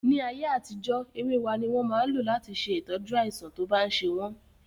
Ní ayé àtijó èwe wá ní wọ́n máa ń lò láti ṣe ìtọ́jú àìsàn tó bá ń ṣe wọ́n